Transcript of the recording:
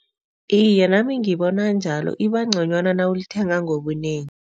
Iye, nami ngibona njalo. Ibangconywana nawulithenga ngobunengi.